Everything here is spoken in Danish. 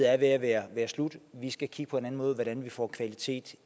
er ved at være slut vi skal kigge på en anden måde på hvordan vi får kvalitet